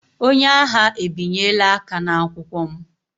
Onye agha ebinyela aka n'akwụkwọ m.